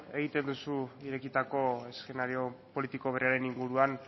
egiten duzu irekitako eszenario politiko berriaren inguruan